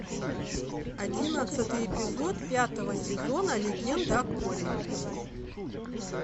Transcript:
одиннадцатый эпизод пятого сезона легенда о корре